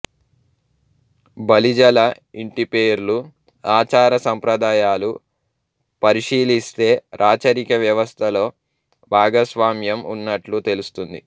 బలిజల ఇంటి పేర్లు ఆచార సంప్రదాయాలు పరిశీలిస్తే రాచరిక వ్యవస్థలో భాగస్వామ్యం ఉన్నట్టు తెలుస్తుంది